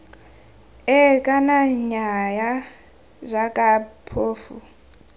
ee kana nnyaya jaaka phofu